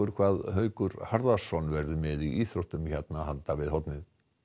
hvað Haukur Harðarson verður með í íþróttum hér handan við hornið